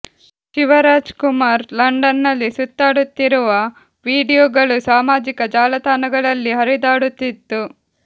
Shiva Raj Kumar London ನಲ್ಲಿ ಸುತ್ತಾಡುತ್ತಿರಿವ video ಗಳು ಸಾಮಾಜಿಕ ಜಾಲ ತಾಣಗಳಲ್ಲಿ ಹರಿದಾಡುತ್ತಿತ್ತು